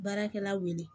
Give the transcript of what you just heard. Baarakɛla wele